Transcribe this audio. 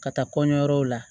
Ka taa kɔɲɔyɔrɔw la